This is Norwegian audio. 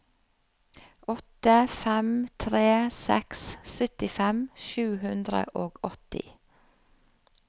åtte fem tre seks syttifem sju hundre og åtti